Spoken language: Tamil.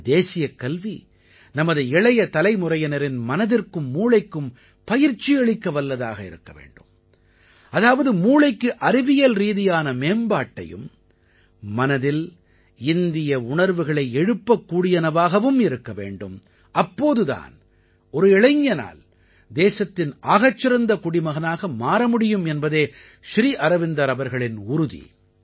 நமது தேசியக் கல்வி நமது இளைய தலைமுறையினரின் மனதிற்கும் மூளைக்கும் பயிற்சி அளிக்கவல்லதாக இருக்க வேண்டும் அதாவது மூளைக்கு அறிவியல் ரீதியான மேம்பாட்டையும் மனதில் இந்திய உணர்வுகளை எழுப்பக்கூடியனவாகவும் இருக்க வேண்டும் அப்போது தான் ஒரு இளைஞனால் தேசத்தின் ஆகச்சிறந்த குடிமகனாக மாற முடியும் என்பதே ஸ்ரீ அரவிந்தர் அவர்களின் உறுதி